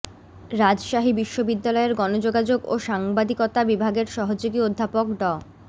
রাজশাহী বিশ্ববিদ্যালয়ের গণযোগাযোগ ও সাংবাদিকতা বিভাগের সহযোগী অধ্যাপক ড